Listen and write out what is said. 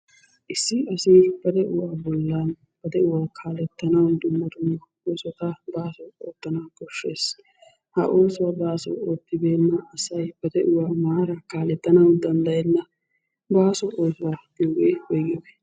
Issi asi ba de'uwa bollan ba de'uwa kaalettanaw dumma dumma oosota baaso oottanawu koshshees. Ha oosuwa baaso oottibeena asay ba de'uwaa maara kaalettana danddayenna. Baaso oosuwa yaagiyooge woyggiyooge?